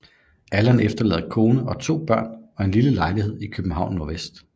Allan efterlader kone og 2 børn og en lille lejlighed i København NV